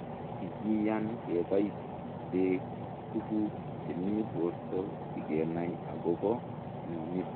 kikiyaan kebaiseek tuguk chemii portoo sigenai akopoo mionitok